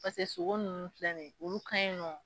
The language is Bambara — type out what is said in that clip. Paseke sogo nunnu filɛ ni ye olu kan ɲi nɔ